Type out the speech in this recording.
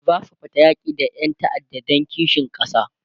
zasu fita yaki da Ƴan ta'adda Dan kishin kasa